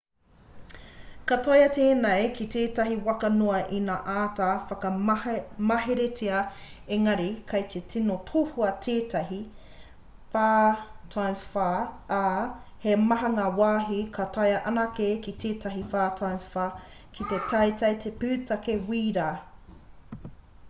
ka taea tēnei ki tētahi waka noa ina āta whakamaheretia engari kei te tino tohua tētahi 4x4 ā he maha ngā wāhi ka taea anake ki tētahi 4x4 he teitei te pūtake wīra